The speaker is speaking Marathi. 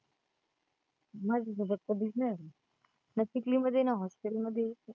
माझ्या सोबत कधीच नाही आली, ना चिखली मध्ये ना hostel मधी